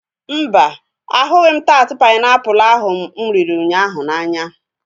Mba, ahụghị taat painiapulu ahu mụ riri ụnyaahụ n'anya